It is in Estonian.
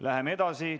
Läheme edasi.